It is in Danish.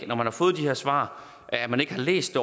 når man har fået de her svar ikke har læst